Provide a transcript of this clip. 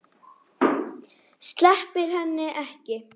Sleppir henni ekki.